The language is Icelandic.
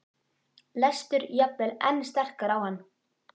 lestur jafnvel enn sterkar á hann.